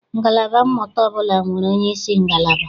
Ngalaba mmụta ọbụla nwere onyeisi ngalaba.